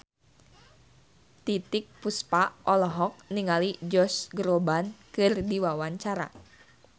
Titiek Puspa olohok ningali Josh Groban keur diwawancara